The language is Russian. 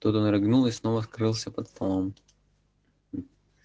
тут он рыгнул и снова скрылся под столом